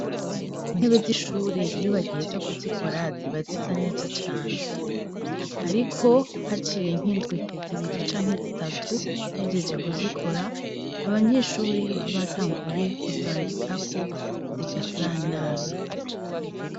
Intebe z'ishure iyobagihe za kuzikora ziba zisa neza cane, ariko haciye nk'indwi zibiri canke zitatu hejeje kuzikora abanyeshure babatanguye kuzandikako zigasa nabi.